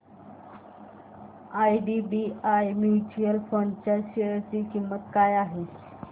IDBI mutual fund च्या share ची किंमत काय आहे